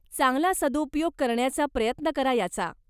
चांगला सदुपयोग करण्याचा प्रयत्न करा याचा.